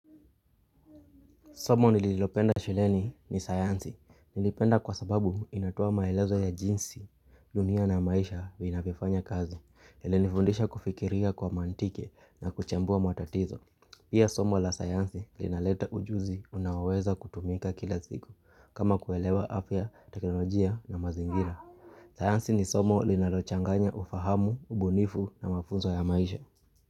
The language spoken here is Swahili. Somo nililopenda shuleni ni sayansi. Nilipenda kwa sababu inatoa maelezo ya jinsi, dunia na maisha vinavyofanya kazi. Ilinifundisha kufikiria kwa mantiki na kuchambua matatizo. Pia somo la sayansi linaleta ujuzi unaoweza kutumika kila siku kama kuelewa afya, teknolojia na mazingira. Sayansi ni somo linalochanganya ufahamu, ubunifu na mafunzo ya maisha.